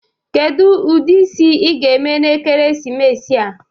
Kedu ụdị isi ị ga-eme na ekeresimesi a?